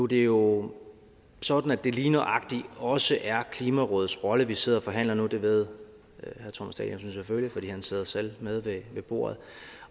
det jo sådan at det lige nøjagtig også er klimarådets rolle vi sidder og forhandler det ved herre thomas danielsen selvfølgelig for han sidder selv med ved bordet